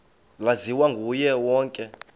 laziwa nguye wonke